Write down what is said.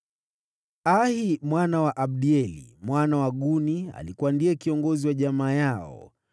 Ahi mwana wa Abdieli, mwana wa Guni, alikuwa ndiye kiongozi wa jamaa yao.